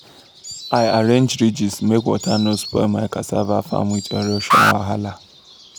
i arrange ridges make water no spoil my cassava farm with erosion wahala.